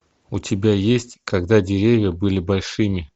у тебя есть когда деревья были большими